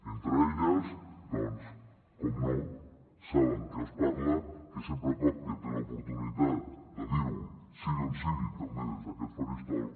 entre elles doncs per descomptat saben que qui els parla sempre que té l’oportunitat de dir·ho sigui on sigui també des d’aquest faristol